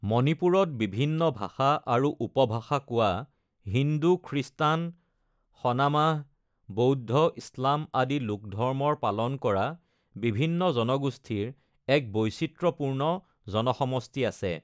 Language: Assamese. মণিপুৰত বিভিন্ন ভাষা আৰু উপভাষা কোৱা, হিন্দু, খ্ৰীষ্টান, সনামাহ, বৌদ্ধ, ইছলাম, আদি লোকধৰ্মৰ পালন কৰা বিভিন্ন জনগোষ্ঠীৰ এক বৈচিত্ৰ্যপূৰ্ণ জনসমষ্টি আছে।